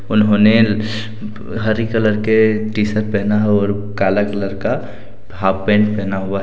उन्होंने हरी कलर के टी शर्ट पहना है और काला कलर का हाफ पैंट पहना हुआ है।